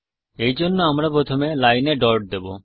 এই জন্য আমরা প্রথমে লাইনে ডট দেবো